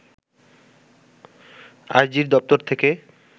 আইজির দপ্তর থেকে